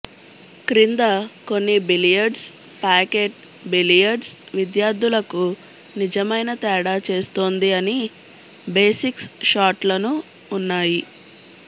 క్రింద కొన్ని billiards pocket billiards విద్యార్థులకు నిజమైన తేడా చేస్తుంది అని బేసిక్స్ షాట్లను ఉన్నాయి